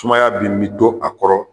Tumaya bi min bi to a kɔrɔ